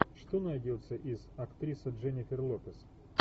что найдется из актриса дженнифер лопес